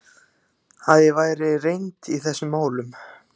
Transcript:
Að ég væri reynd í þessum málum?